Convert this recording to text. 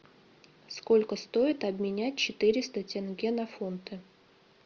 сколько стоит обменять четыреста тенге на фунты